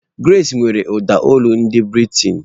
Grace nwere ụda olu ndị Bị́rị́taị̀n.